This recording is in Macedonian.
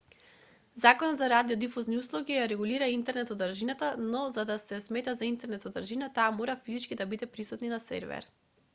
законот за радиодифузни услуги ја регулира интернет-содржината но за да се смета за интернет-содржина таа мора физички да биде присутна на сервер